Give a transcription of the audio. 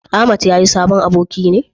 Ahmad ya yi sabon aboki ne?